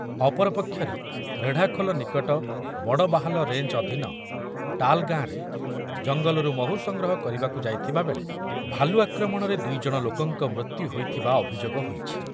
ଅପରପକ୍ଷରେ ରେଢ଼ାଖୋଲ ନିକଟ ବଡ଼ବାହାଲ ରେଞ୍ଜ ଅଧୀନ ଟାଲ୍ ଗାଁରେ ଜଙ୍ଗଲରୁ ମହୁ ସଂଗ୍ରହ କରିବାକୁ ଯାଇଥିବାବେଳେ ଭାଲୁ ଆକ୍ରମଣରେ ଦୁଇ ଜଣ ଲୋକଙ୍କ ମୃତ୍ୟୁ ହୋଇଥିବା ଅଭିଯୋଗ ହଇଛି ।